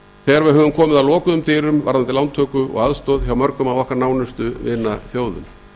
þegar við höfum komið að lokuðum dyrum varðandi lántöku og aðstoð hjá mörgum af okkar nánustu vinaþjóðum